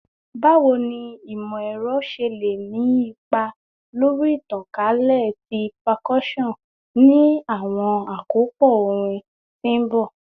Bawo ni imọ-ẹrọ ṣe le ni ipa lori itankalẹ ti percussion ni awọn akopọ orin ti n bọ?